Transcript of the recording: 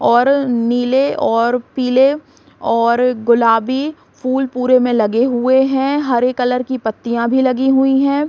और नीले और पिले और गुलाबी फूल पुरे में लगे हुए हैं हरे कलर की पत्तियां भी लगी हुई हैं ।